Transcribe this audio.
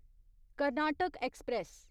Karnataka express